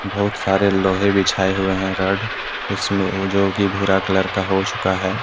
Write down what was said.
बहुत सारे लोहे बिछाए हुए हैं रेड इसमें हो जो कि भूरा कलर का हो चुका है।